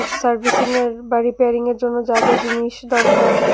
সার্ভিসিংয়ের বা রিপেয়ারিংয়ের জন্য যা যা জিনিস দরকার--